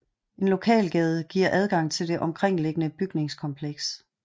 En lokalgade giver adgang til det omkringliggende bygningskompleks